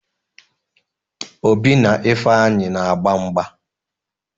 Obi na Ifeanyị na-agba mgba.